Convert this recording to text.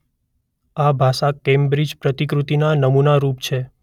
આ ભાષા કેમ્બ્રિજ પ્રતિકૃતિના નમૂનારૂપ છે.